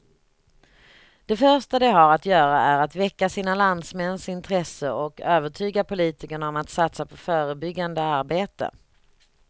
Det första de har att göra är att väcka sina landsmäns intresse och övertyga politikerna om att satsa på förebyggande arbete.